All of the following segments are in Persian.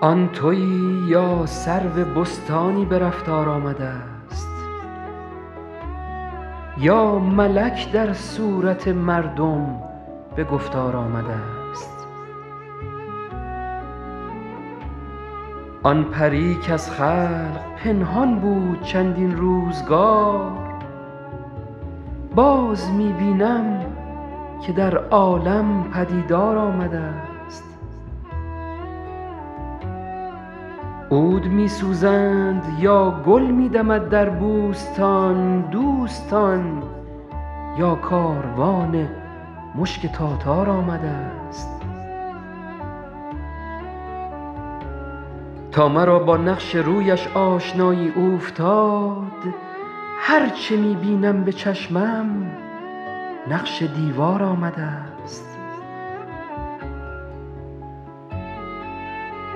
آن تویی یا سرو بستانی به رفتار آمده ست یا ملک در صورت مردم به گفتار آمده ست آن پری کز خلق پنهان بود چندین روزگار باز می بینم که در عالم پدیدار آمده ست عود می سوزند یا گل می دمد در بوستان دوستان یا کاروان مشک تاتار آمده ست تا مرا با نقش رویش آشنایی اوفتاد هر چه می بینم به چشمم نقش دیوار آمده ست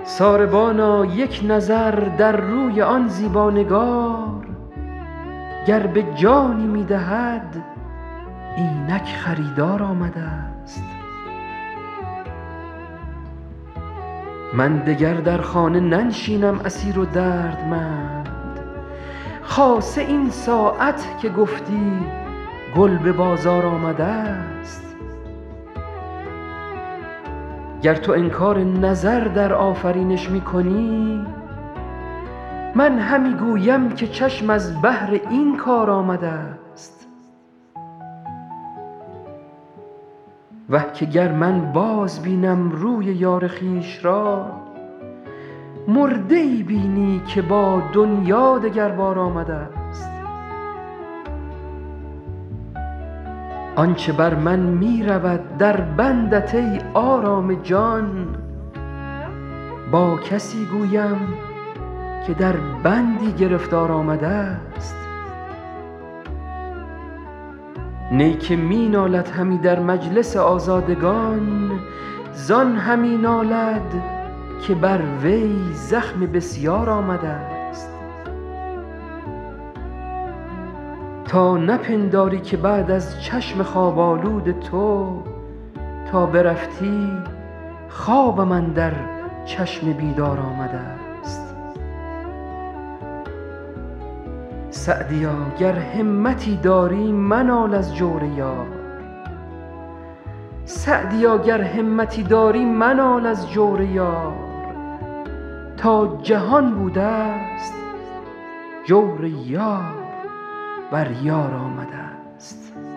ساربانا یک نظر در روی آن زیبا نگار گر به جانی می دهد اینک خریدار آمده ست من دگر در خانه ننشینم اسیر و دردمند خاصه این ساعت که گفتی گل به بازار آمده ست گر تو انکار نظر در آفرینش می کنی من همی گویم که چشم از بهر این کار آمده ست وه که گر من بازبینم روی یار خویش را مرده ای بینی که با دنیا دگر بار آمده ست آن چه بر من می رود در بندت ای آرام جان با کسی گویم که در بندی گرفتار آمده ست نی که می نالد همی در مجلس آزادگان زان همی نالد که بر وی زخم بسیار آمده ست تا نپنداری که بعد از چشم خواب آلود تو تا برفتی خوابم اندر چشم بیدار آمده ست سعدیا گر همتی داری منال از جور یار تا جهان بوده ست جور یار بر یار آمده ست